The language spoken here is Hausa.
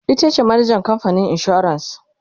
itace manajan kamfanin insuran